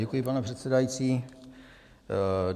Děkuji, pane předsedající.